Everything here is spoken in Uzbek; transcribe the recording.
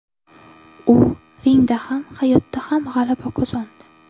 U ringda ham, hayotda ham g‘alaba qozondi.